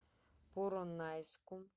поронайску